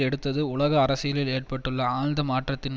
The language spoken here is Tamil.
எடுத்தது உலக அரசியலில் ஏற்பட்டுள்ள ஆழ்ந்த மாற்றத்தின்